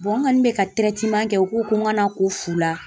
n kɔni bɛ ka kɛ u ko ko n kana ko fu la.